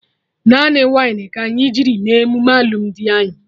Naanị wainị ka anyị jiri mee emume alụmdi anyị